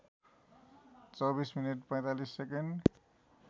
२४ minute ४५ second